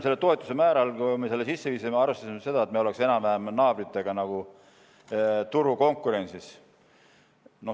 Selle toetuse määra puhul, kui me selle sisse viisime, arvestasime seda, et me oleksime enam-vähem naabritega turukonkurentsis.